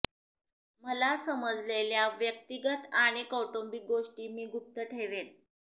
मला समजलेल्या व्यक्तिगत आणि कौटुंबिक गोष्टी मी गुप्त ठेवेन